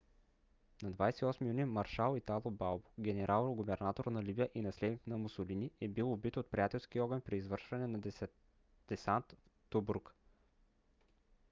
на 28 юни маршал итало балбо генерал-губернатор на либия и наследник на мусолини е бил убит от приятелски огън при извършване на десант в тобрук